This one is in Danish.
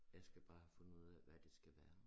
Jeg skal bare have fundet ud af hvad det skal være